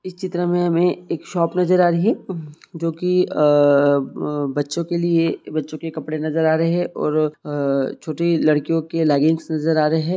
इस चित्र में हमें एक शॉप नज़र आ रही है जो कि आ-अ-बच्चो के लिए बच्चों के कपड़े नज़र आ रहे है और अ-छोटी लड़कियों की लेगिंस नज़र आ रहे है।